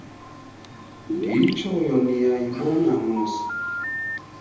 ndiyitshoyo niyayibona mosi